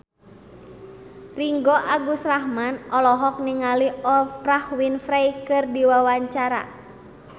Ringgo Agus Rahman olohok ningali Oprah Winfrey keur diwawancara